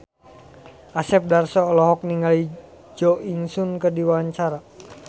Asep Darso olohok ningali Jo In Sung keur diwawancara